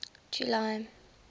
july